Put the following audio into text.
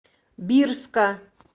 бирска